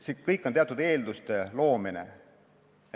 See kõik on teatud eelduste loomine.